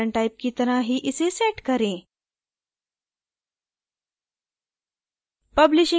events content type की तरह ही इसे set करें